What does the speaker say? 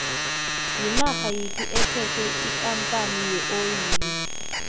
yinarha yiphi ephethe ikampani yeoli